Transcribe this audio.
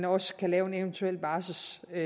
også kan lave en eventuel barselsordning